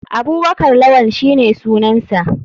Abubakar lawann shine sunansa.